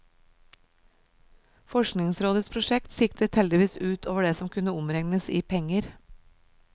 Forskningsrådets prosjekt siktet heldigvis ut over det som kunne omregnes i penger.